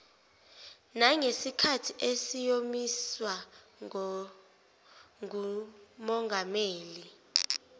nangesikhathi esiyomiswa ngumongameli